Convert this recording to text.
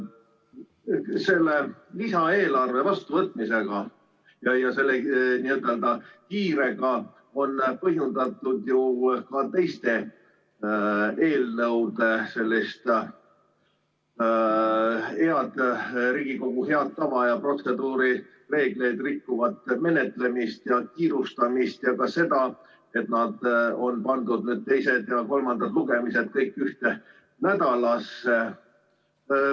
Selle lisaeelarve vastuvõtmisega ja selle kiirega on põhjendatud ju ka teiste eelnõude sellist Riigikogu head tava ja protseduurireegleid rikkuvat menetlemist ja kiirustamist ja ka seda, et need teised ja kolmandad lugemised on pandud kõik ühte nädalasse.